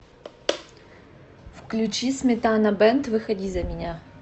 включи сметана бэнд выходи за меня